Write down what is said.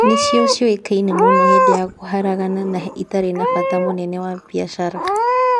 Nĩcio ciũĩkaine mũno hĩndĩ ya kũharagana na itarĩ na bata mũnene wa biacara.